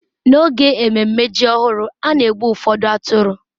n'oge ememe ji ọhụrụ a na-egbu ụfọdụ atụrụ